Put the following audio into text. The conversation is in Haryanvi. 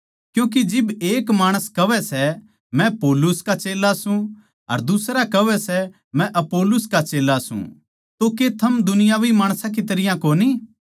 क्यूँके जिब एक माणस कहवै सै मै पौलुस का चेल्ला सूं अर दुसरा कहवै सै मै अपुल्लोस का चेल्ला सूं तो के थम दुनियावी माणस की तरियां कोनी